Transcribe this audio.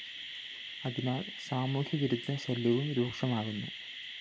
അതിനാല്‍ സാമൂഹ്യ വിരുദ്ധ ശല്യവും രൂക്ഷമാകുന്നു